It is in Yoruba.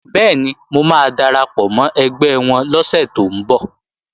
Bẹ́ẹ̀ni, mo máa darapọ̀ mọ́ ẹgbẹ́ wọn lọ́sẹ̀ tó ń bọ̀